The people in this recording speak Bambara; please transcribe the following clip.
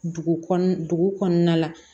Dugu kɔnɔna dugu kɔnɔna la